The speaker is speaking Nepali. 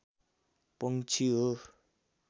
पंक्षी हो